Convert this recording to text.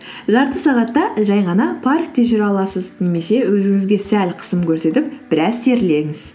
жарты сағатта жай ғана паркте жүре аласыз немесе өзіңізге сәл қысым көрсетіп біраз терлеңіз